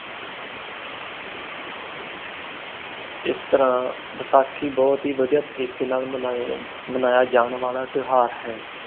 ਇਸ ਤਰ੍ਹਾਂ ਬੈਸਾਖੀ ਬਹੁਤ ਹੀ ਵਧੀਆ ਤਰੀਕੇ ਨਾਲ ਮਨਾਇਆ ਜਾਣ ਵਾਲਾ ਤਿਉਹਾਰ ਹੈ।